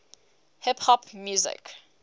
hip hop music